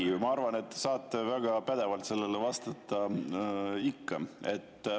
Ei, ma arvan, et te saate väga pädevalt sellele vastata.